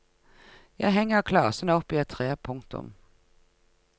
Jeg henger klasen opp i et tre. punktum